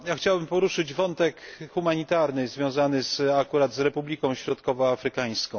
Chciałbym poruszyć wątek humanitarny związany akurat z Republiką Środkowoafrykańską.